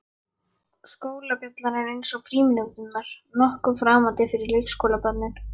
Skólabjallan er, eins og frímínúturnar, nokkuð framandi fyrir leikskólabörnin.